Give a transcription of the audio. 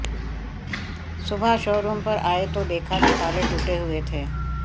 सुबह शोरूम पर आए तो देखा कि ताले टूटे हुए थे